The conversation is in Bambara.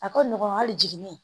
A ka nɔgɔn hali jiginin